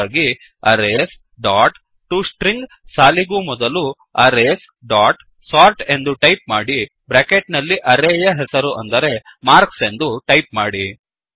ಹಾಗಾಗಿ arrays dot to string ಸಾಲಿಗೂ ಮೊದಲು ಅರೇಸ್ ಡಾಟ್ ಸೋರ್ಟ್ ಎಂದು ಟೈಪ್ ಮಾಡಿ ಬ್ರ್ಯಾಕೆಟ್ ನಲ್ಲಿ ಅರೇಯ ಹೆಸರು ಅಂದರೆ ಮಾರ್ಕ್ಸ್ ಎಂದು ಟೈಪ್ ಮಾಡಿ